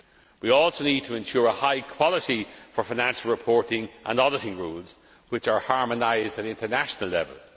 We also need to ensure high quality for finance reporting and auditing rules, which are harmonised at international level.